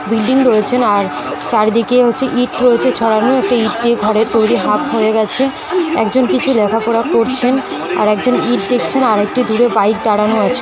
Building রয়েছেণ আর চারদিকে হচ্ছে ইট রয়েছে ছড়ানো একটা ইট দিয়ে ঘরে তৈরি হাফ হয়ে গেছে একজন কিছু দেখাশোনা করছেন আর একজন ইট দেখছেন আরেকটি দূরে বাইক দাঁড়ানো আছে।